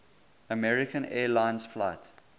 american airlines flight